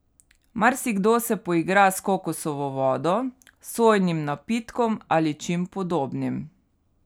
Marsikdo se poigra s kokosovo vodo, sojinim napitkom ali čim podobnim.